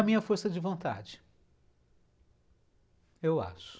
A minha força de vontade, eu acho.